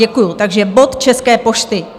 Děkuju, takže bod České pošty.